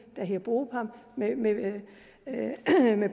der hedder bopam med